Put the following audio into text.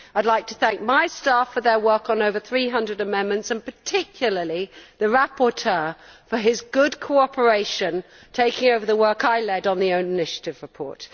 I would like to thank my staff for their work on over 300 amendments, and particularly the rapporteur for his good cooperation, taking over the work I led on the own initiative report.